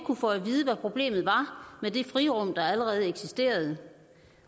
kunne få at vide hvad problemet var med det frirum der allerede eksisterede